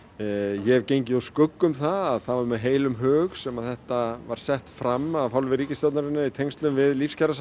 ég hef gengið úr skugga um það að það var með heilum hug sem að þetta var sett fram af hálfu ríkistjórnarinnar i tengslum við